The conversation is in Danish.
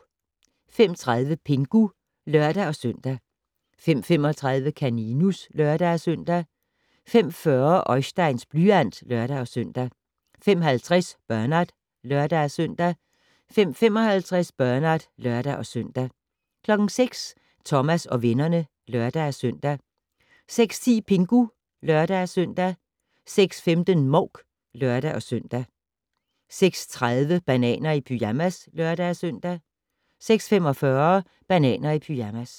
05:30: Pingu (lør-søn) 05:35: Kaninus (lør-søn) 05:40: Oisteins blyant (lør-søn) 05:50: Bernard (lør-søn) 05:55: Bernard (lør-søn) 06:00: Thomas og vennerne (lør-søn) 06:10: Pingu (lør-søn) 06:15: Mouk (lør-søn) 06:30: Bananer i pyjamas (lør-søn) 06:45: Bananer i pyjamas